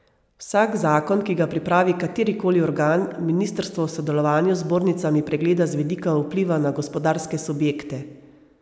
Vsak zakon, ki ga pripravi kateri koli organ, ministrstvo v sodelovanju z zbornicami pregleda z vidika vpliva na gospodarske subjekte.